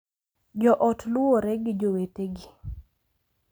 Jo ot luwore gi jowetegi,